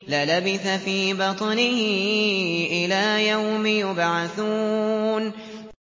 لَلَبِثَ فِي بَطْنِهِ إِلَىٰ يَوْمِ يُبْعَثُونَ